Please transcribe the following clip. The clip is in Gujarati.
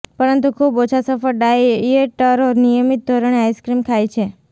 પરંતુ ખૂબ ઓછા સફળ ડાયેટરો નિયમિત ધોરણે આઈસ્ક્રીમ ખાય છે